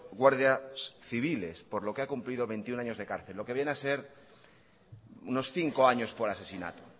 guardias civiles por lo que ha cumplido veintiuno años de cárcel lo que viene a ser unos cinco años por asesinato